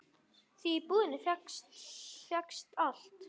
Því í búðinni fékkst allt.